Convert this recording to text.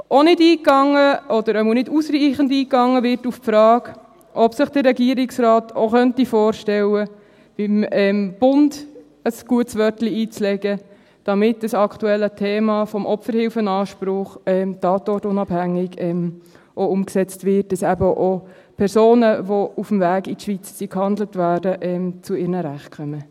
Auch nicht eingegangen – oder zumindest nicht ausreichend eingegangen – wird auf die Frage, ob sich der Regierungsrat auch vorstellen könnte, beim Bund ein gutes Wörtchen einzulegen, damit das aktuelle Thema des Opferhilfeanspruchs tatortunabhängig umgesetzt wird, damit eben auch Personen, die auf dem Weg in die Schweiz gehandelt wurden, zu ihren Rechten kommen.